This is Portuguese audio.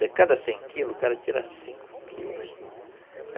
De cada cem quilos, o cara tira cinco quilos, entendi.